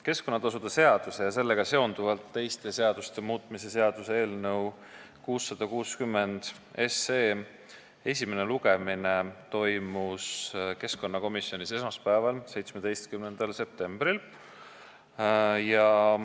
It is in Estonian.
Keskkonnatasude seaduse ja sellega seonduvalt teiste seaduste muutmise seaduse eelnõu 660 arutelu enne esimest lugemist toimus keskkonnakomisjonis esmaspäeval, 17. septembril.